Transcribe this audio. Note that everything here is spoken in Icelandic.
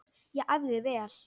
Ég æfði vel.